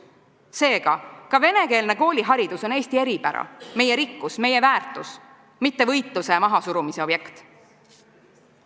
Seega, ka venekeelne kooliharidus on Eesti eripära, meie rikkus, meie väärtus, mitte võitluse ja mahasurumise objekt.